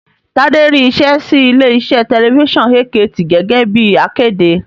Tádé rí iṣẹ́ sí ilé iṣẹ́ tẹlifísàn AKT gẹ́gẹ́ bíi akéde